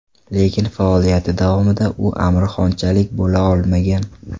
Lekin faoliyati davomida u Amir Xonchalik bo‘la olmagan.